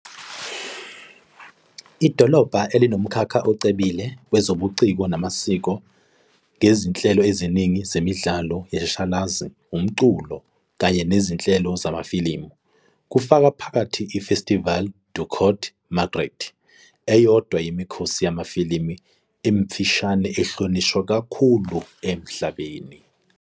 Idolobha linomkhakha ocebile wezobuciko namasiko, ngezinhlelo eziningi zemidlalo yeshashalazi, umculo, kanye nezinhlelo zamafilimu, kufaka phakathi iFestival du Court Métrage, eyodwa yemikhosi yamafilimu emifushane ehlonishwa kakhulu emhlabeni.